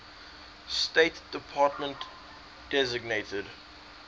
state department designated